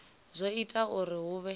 zwo ita uri hu vhe